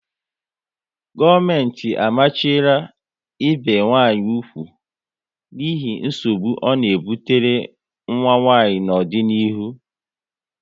Gọọmenti amachiela ibi nwanyị úgwù n'ihi nsogbu ọ na ebutere nwa nwanyị n'ọdịnihu